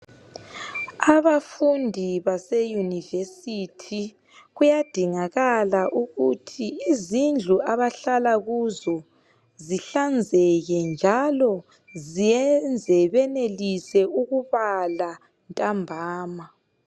Abafundi baseyunivesithi kuyadingakala ukuthi izindlu abahlala kuzo zihlanzeke njalo ziyenze benelise ukubala ntambama.